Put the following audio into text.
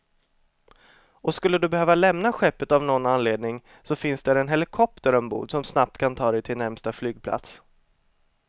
Och skulle du behöva lämna skeppet av någon anledning så finns där en helikopter ombord, som snabbt kan ta dig till närmsta flygplats.